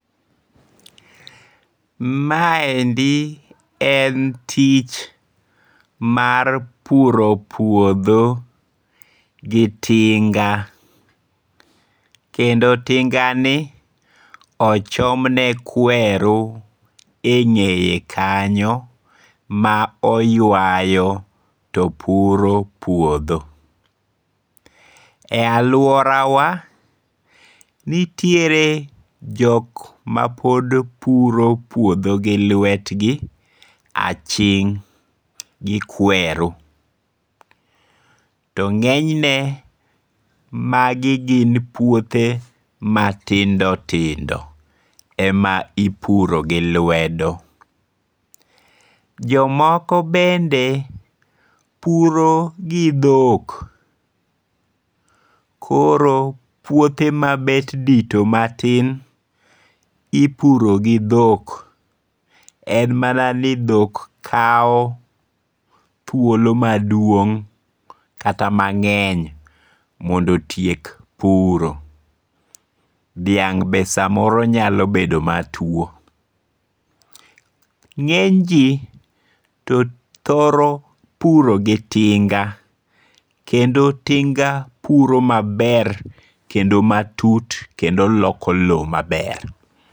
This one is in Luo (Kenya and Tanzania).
Maendi en tich mar puro puodho gi tinga, kendo tingani ochomne kweru e ng'eye kanyo ma oywayo to puro puodho, e aluorawa nitiere jok ma pod puro puotho gi lwetgi aching' gi kweru to ng'enyne magi gin puothe matindo tindo ema ipuro gi lwedo, jomoko bende puro gi dhok, koro puothe ma bet dito matin ipuro gi dhok en mana ni dhok kawo thuolo maduong' kata mang'eny mondo otiek puro, dhiang' be samoro nyalo bedo matuo, nge'ny ji to thoro puro gi tinga kendo tinga puro maber kendo matut kendo loko lowo maber.